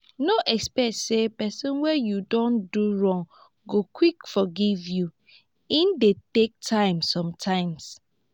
no expect sey person wey you don do wrong go quick forgive you e dey take time sometimes